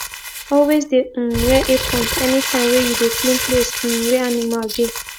always de um wear aprons anytime wey you de clean place um wey animal de